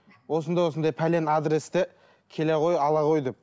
осындай осындай пәлен адресте келе ғой ала ғой деп